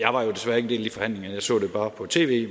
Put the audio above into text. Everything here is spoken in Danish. del af de forhandlinger jeg så det bare på tv